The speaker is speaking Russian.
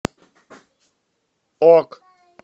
ок